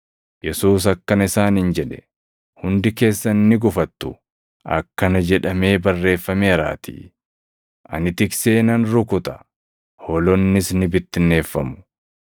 Yesuus akkana isaaniin jedhe; “Hundi keessan ni gufattu; akkana jedhamee barreeffameeraatii: “ ‘Ani tiksee nan rukuta; hoolonnis ni bittinneeffamu.’ + 14:27 \+xt Zak 13:7\+xt*